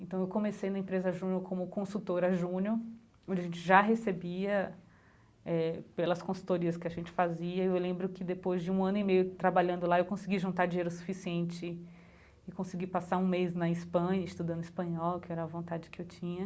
Então, eu comecei na empresa Júnior como consultora Júnior, onde a gente já recebia eh pelas consultorias que a gente fazia, e eu lembro que depois de um ano e meio trabalhando lá, eu consegui juntar dinheiro suficiente e consegui passar um mês na Espanha, estudando Espanhol, que era a vontade que eu tinha.